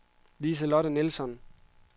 Liselotte Nilsson